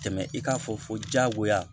Tɛmɛ i k'a fɔ fo jagoya